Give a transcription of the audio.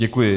Děkuji.